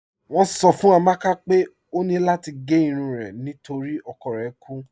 Wọn sọ̀ fún Amàkà pé ọ ní lati gé irun rẹ̀ nítorí ọkọ̀ rẹ̀ kú